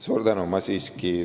Suur tänu!